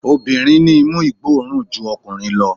Obìnrin ní imú ìgbó òórùn ju ọkùnrin lọ